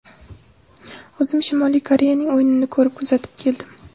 O‘zim Shimoliy Koreyaning o‘yinini ko‘rib, kuzatib keldim.